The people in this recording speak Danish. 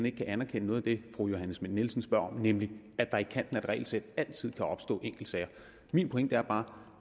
ikke kan anerkende noget af det fru johanne schmidt nielsen spørger om nemlig det at der i kanten af et regelsæt altid kan opstå enkeltsager min pointe er bare at